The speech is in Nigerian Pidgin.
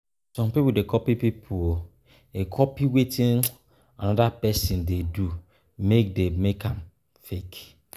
Some pipo de copy pipo de copy wetin another persin dey do wey de make dem fake